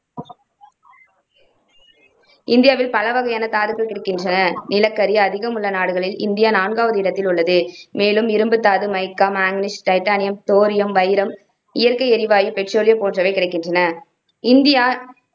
இந்தியாவில் பலவகையான தாதுக்கள் கிடைக்கின்றன. நிலக்கரி அதிகம் உள்ள நாடுகளில் இந்தியா நான்காவது இடத்தில் உள்ளது. மேலும் இரும்புத்தாது, மைக்கா, மாங்கனீசு, டைட்டானியம், தோரியம், வைரம், இயற்கை எரிவாயு, பெட்ரோலியம் போன்றவையும் கிடைக்கின்றன இந்தியா